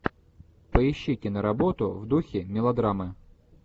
поищи киноработу в духе мелодрамы